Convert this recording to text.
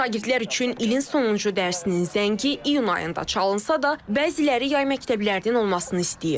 Şagirdlər üçün ilin sonuncu dərsinin zəngi iyun ayında çalınsa da, bəziləri yay məktəblərinin olmasını istəyir.